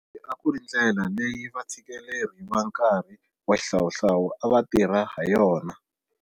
Leyi a ku ri ndlela leyi vatshikeleri va nkarhi wa xihlawuhlawu a va tirha hayona.